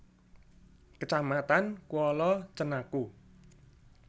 Kecamatan Kuala Cenaku